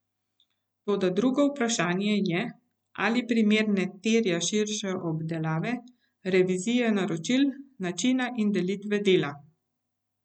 Toda drugo vprašanje je, ali primer ne terja širše obdelave, revizije naročil, načina in delitve dela ...